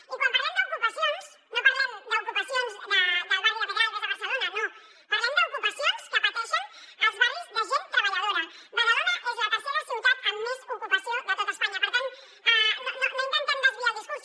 i quan parlem d’ocupacions no parlem d’ocupacions del barri de pedralbes a barcelona no parlem d’ocupacions que pateixen els barris de gent treballadora badalona és la tercera ciutat amb més ocupació de tot espanya per tant no intentem desviar el discurs